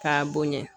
K'a bonya